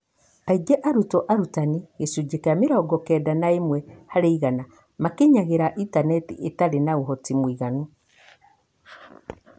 Aingĩ a arutwo arutani (gĩcunjĩ kĩa mĩrongokenda na ĩmwe harĩ igana) makinyagĩra intaneti ĩtarĩ na ũhoti mũiganu.